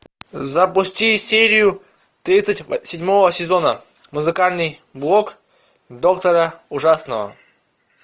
запусти серию тридцать седьмого сезона музыкальный блог доктора ужасного